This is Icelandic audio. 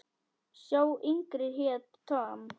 Sá yngri hét Tom.